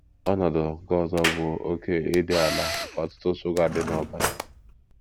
Ọnọdụ nke ọzọ bụ oké ịdị ala nke ọ̀tụ̀tụ̀ shuga dị n’ọbara.